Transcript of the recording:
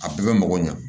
A bɛɛ bɛ mɔgɔ ɲɛ